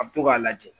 A bɛ to k'a lajɛ